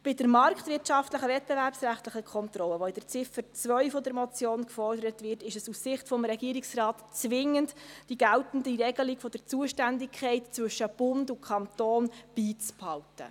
Bei der marktwirtschaftlich-wettbewerbsrechtlichen Kontrolle, die in Ziffer 2 der Motion gefordert wird, ist es aus Sicht des Regierungsrates zwingend die geltende Regelung der Zuständigkeit zwischen Bund und Kanton beizubehalten.